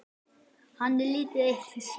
Hann er lítið eitt hissa.